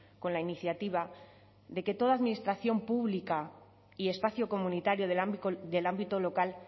con la iniciativa de que toda administración pública y espacio comunitario del ámbito local